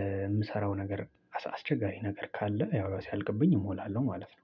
የምሰራው ነገር አስቸጋሪ ነገር ካለ ያው ሲያልቅብኝ እሞላለሁ ማለት ነው።